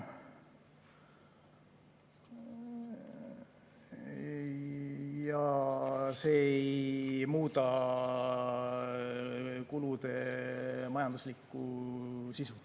Ja see ei muuda kulude majanduslikku sisu.